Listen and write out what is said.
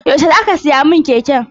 Yaushe za ka siya min keken?